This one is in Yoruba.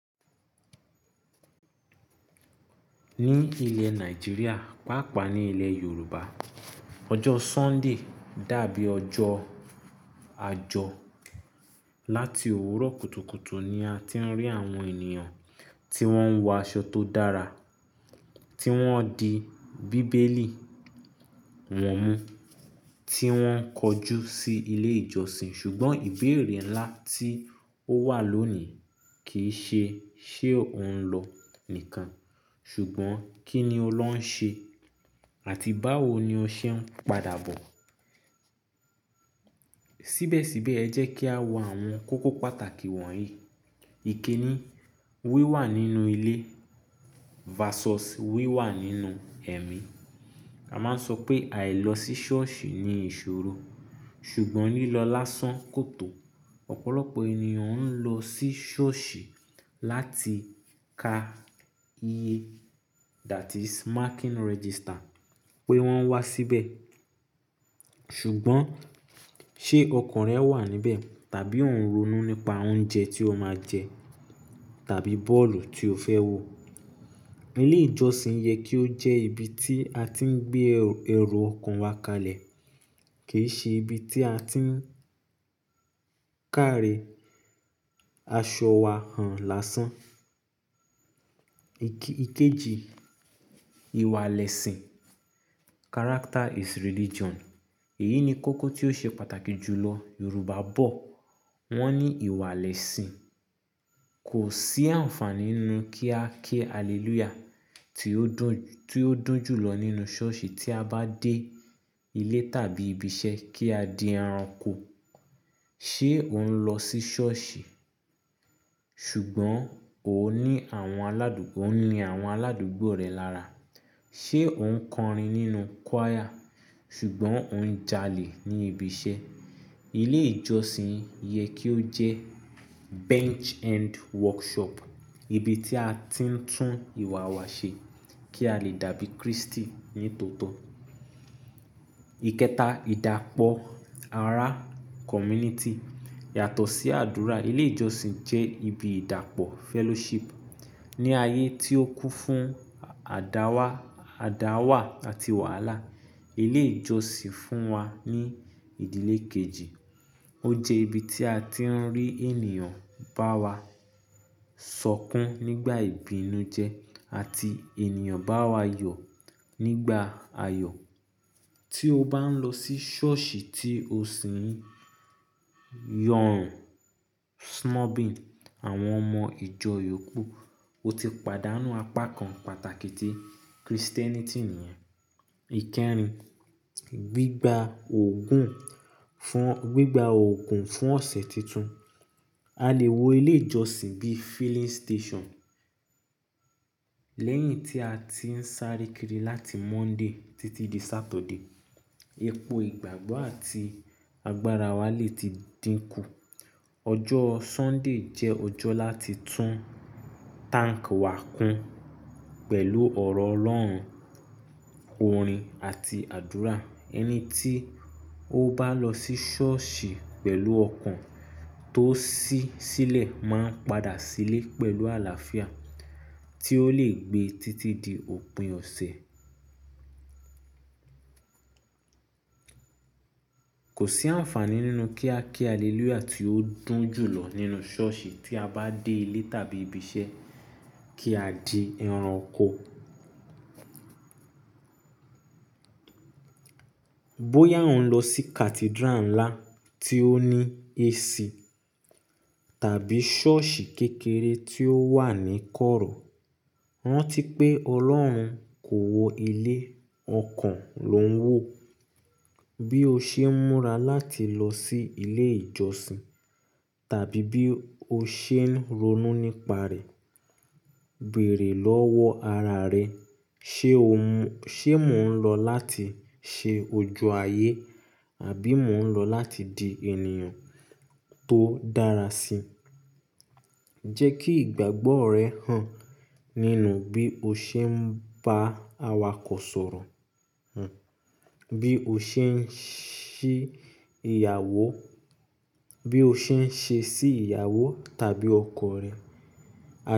Ní ilẹ̀ Nàìjíríà, pàápàá ni ilẹ̀ Yorùbá, ọjọ́ Sunday dàbí ọjọ́ àjọ. Lati òwúrọ̀ kùtùkùtù ni a ti ń rí àwọn ènìyàn tí wọ́n ń wọ aṣọ tó dára, tí wọ́n di bíbélì wọ́n mú, tí wọ́n ń kọjú sí ilé ìjọsìn. Ṣùgbọ́n ìbéèrè ńlá tí ó wà lónìí kì í ṣe ṣé o ń lọ nìkan, ṣùgbọ́n kí ni o lọ ń ṣe àti báwo ni o ṣe ń padà bọ̀. Síbẹ̀síbẹ̀ ẹ jẹ́ kí a wo àwọn kókó pàtàkì wọ̀nyí. Ikin ni wíwà nínú ilé versus wíwà nínú ẹ̀mí. A máa ń sọ pé àì lọ sí ṣọ́ọ̀ṣì ni ìṣòro, ṣùgbọ́n lílọ lásán kò tó. Ọ̀pọ̀lọpọ̀ ènìyàn ń lọ sí ṣọ́ọ̀ṣì láti ka iye, that is marking register pé wọ́n wá síbẹ̀. Ṣùgbọ́n ṣé ọkàn rẹ wà níbẹ̀? Tàbí o ń ronú nípa oúnjẹ tí o máa jẹ tàbí bọ́ọ̀lù tí o fẹ́ wò? Ilé ìjọsìn yẹ kí ó jẹ́ ibi tí a ti ń gbé ẹro ọkàn wa kalẹ̀, kì í ṣe ibi tí a ti ń kàre aṣọ wa hàn lásán. Ike, ikeji, ìwà lẹ́sìn. Character is religion. Èyí ni kókó tí ó ṣe pàtàkì jùlọ. Yorùbá bọ̀, wọ́n ní ìwà lẹ́sìn. Kò sí àǹfàní nínú kí a ke Hallelujah tí ó dùn, tí ó dùn jùlọ nínú ṣọ́ọ̀ṣì tí a bá dé ilé tàbí ibi iṣẹ́ kí a di ẹranko. Ṣé o ń lọ sí ṣọ́ọ̀ṣì ṣùgbọ́n o ní àwọn aládùgbò, o ni àwọn aládùgbò rẹ lára? Ṣé o ń kọrin nínú choir ṣùgbọ́n o ń jalè ní ibi iṣẹ́? Ilé ìjọsìn yẹ kí ó jẹ́ bench and workshop, ibi tí a ti ń tún ìwà wa ṣe kí a lè dàbí Kristi nítòótọ́. Ikẹta, ìdàpọ̀ ará community. Yàtọ̀ sí àdúrà, ilé ìjọsìn jẹ́ ibi ìdàpọ̀ fellowship. Ni ayé tí ó kún fún àdáwá, àdáwà àti wàhálà, ilé ìjọsìn fún wa ní ìdílé kejì. Ó jẹ́ ibi tí a ti ń rí ènìyàn bá wa sọkún nígbà ìbínú jẹ́ àti ènìyàn bá wa yọ̀ nígbà ayọ̀. Tí o bá ń lọ sí ṣọ́ọ̀ṣì tí o sì ń yọ̀rùn snubbing àwọn ọmọ ìjọ yòókù, o ti pàdánù apá kan pàtàkì ti Christianity nìyẹn. Ikẹrin, gbígba òògùn, fún, gbígba òògùn fún ọ̀sẹ̀ tuntun. A lè wo ilé ìjọsìn bí filling station. Lẹ́yìn tí a ti ń sáré kiri láti Monday títí di Saturday, epo ìgbàgbọ́ àti agbára wa lè ti dínkù. Ọjọ́ Sunday jẹ́ ọjọ́ láti tún tank wa kún pẹ̀lú ọ̀rọ̀ Ọlọ́run, orin àti àdúrà. Ẹni tí ó bá lọ sí ṣọ́ọ̀ṣì pẹ̀lú ọkàn tó ṣí sílẹ̀ máa ń padà sílé pẹ̀lú àlàáfíà tí ó lè gbé títí di òpin ọ̀sẹ̀. Kò sí àǹfàní nínú kí a kí Hallelujah tí ó dùn jùlọ nínú ṣọ́ọ̀ṣì tí a bá dé ilé tàbí ibi iṣẹ́ kí a di ẹran oko. Bóyá o ń lọ sí cathedral ńlá tí ó ní AC tàbí ṣọ́ọ̀ṣì kékeré tí ó wà ní kọ́rọ̀, ran ti pé Ọlọ́run kò wọ ilé, ọkàn ló ń wò. Bí o ṣe ń múra láti lọ sí ilé ìjọsìn tàbí bí o ṣe ń ronú nípa rẹ̀, bẹ̀rẹ̀ lọ́wọ́ ara rẹ. Ṣé o mú, ṣe mò ń lọ láti ṣe ojú ayé? Àbí mò ń lọ láti di ènìyàn tó dára sí? Jẹ́ kí ìgbàgbọ́ rẹ hàn nínú bí o ṣe ń bá awakọ̀ sọ̀rọ̀, bí o ṣe ń ṣí ìyàwó, bí o ṣe ń ṣe sí ìyàwó tàbí ọkọ rẹ.